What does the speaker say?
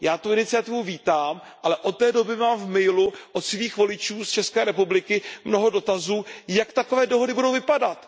Já tu iniciativu vítám, ale od té doby mám v mailu od svých voličů z České republiky mnoho dotazů ohledně toho, jak takové dohody budou vypadat.